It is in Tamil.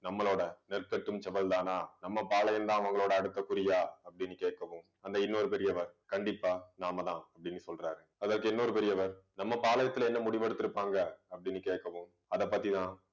நம்மளோட நெற்கட்டும் செவ்வல் தானா நம்ம பாளையம்தான் அவங்களோட அடுத்த குறியா அப்படின்னு கேட்கவும் அந்த இன்னொரு பெரியவர் கண்டிப்பா நாமதான் அப்படின்னு சொல்றாரு அதற்கு இன்னொரு பெரியவர் நம்ம பாளையத்துல என்ன முடிவு எடுத்திருப்பாங்க அப்படின்னு கேட்கவும் அதைப் பத்திதான்